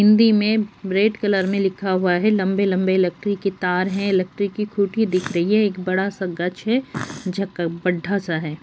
हिंदी में red colour में लिखा हुआ है। लंबे-लंबे इलेक्ट्रिक के तार हैं। इलेक्ट्रिक की खूंटी दिख रही है। एक बड़ा-सा गज है झक बड्ढ़ा-सा है।